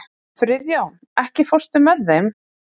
Friðjón, ekki fórstu með þeim?